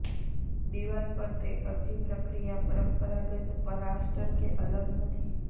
દિવાલ પર તે અરજી પ્રક્રિયા પરંપરાગત પ્લાસ્ટર કે અલગ નથી